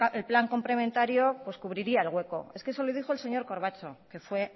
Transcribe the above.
el plan complementario pues cubriría el hueco es que eso lo dijo el señor corbacho que fue